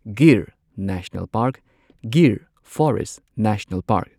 Gir national park Gir forest national park